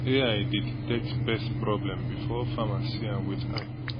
ai dey detect pest problem before farmer see am with eye